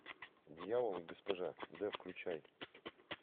дьявол и госпожа д включай